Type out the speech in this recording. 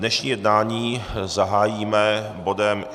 Dnešní jednání zahájíme bodem